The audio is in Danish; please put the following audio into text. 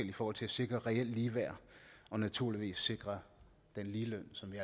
i forhold til at sikre reel ligeværd og naturligvis sikre den ligeløn som vi